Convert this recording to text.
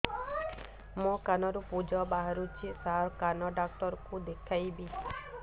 ମୋ କାନରୁ ପୁଜ ବାହାରୁଛି ସାର କାନ ଡକ୍ଟର କୁ ଦେଖାଇବି